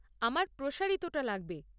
আমার প্রসারিতটা লাগবে।